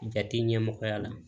Jate ɲɛmɔgɔya la